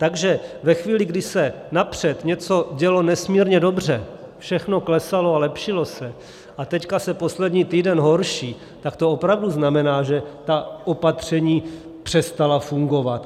Takže ve chvíli, kdy se napřed něco dělo nesmírně dobře, všechno klesalo a lepšilo se, a teď se poslední týden horší, tak to opravdu znamená, že ta opatření přestala fungovat.